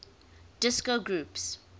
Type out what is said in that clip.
disco groups